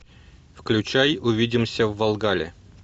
включай увидимся в вальгалле